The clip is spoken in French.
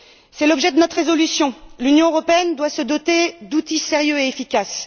C'est l'objet de notre résolution. L'Union européenne doit se doter d'outils sérieux et efficaces.